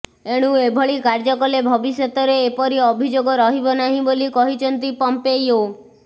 ଏଣୁ ଏଭଳି କାର୍ଯ୍ୟ କଲେ ଭବିଷ୍ୟତରେ ଏପରି ଅଭିଯୋଗ ରହିବ ନାହିଁ ବୋଲି କହିଛନ୍ତି ପମ୍ପେୟୋ